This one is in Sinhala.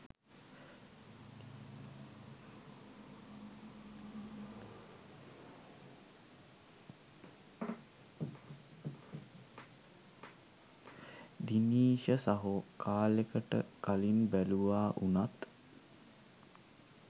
දිනීෂ සහෝ කාලෙකට කලින් බැලුවා වුනත්